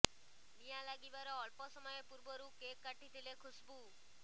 ନିଆଁ ଲାଗିବାର ଅଳ୍ପ ସମୟ ପୂର୍ବରୁ କେକ୍ କାଟିଥିଲେ ଖୁସ୍ବୁ